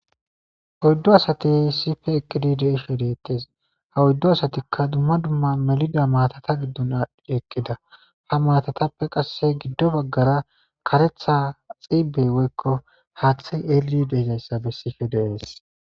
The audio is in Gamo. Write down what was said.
oyddu asati sife eqqidi deishe deettes ha oyddo asatikka dumma dumma melida maatata giddon dd ekkida ha maatatappe qasse giddo baggara karetha xiibey woykko haathi eeli deezayssabe sife dees